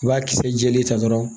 I b'a kisɛ jɛlen ta dɔrɔn